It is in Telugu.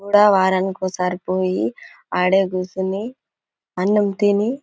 కూడా వారానికి ఒకసారి పోయి అదే కూసోని అన్నం తిని--